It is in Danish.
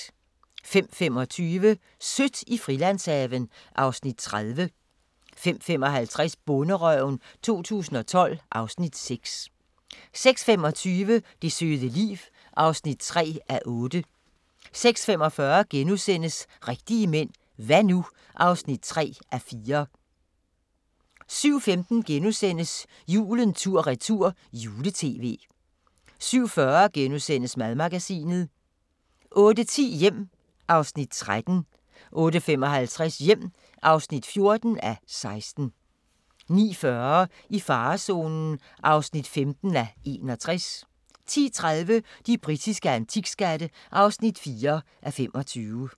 05:25: Sødt i Frilandshaven (Afs. 30) 05:55: Bonderøven 2012 (Afs. 6) 06:25: Det søde liv (3:8) 06:45: Rigtige mænd – hva' nu? (3:4)* 07:15: Julen tur-retur - juletv * 07:40: Madmagasinet * 08:10: Hjem (13:16) 08:55: Hjem (14:16) 09:40: I farezonen (15:61) 10:30: De britiske antikskatte (4:25)